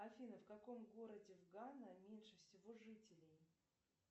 афина в каком городе в гана меньше всего жителей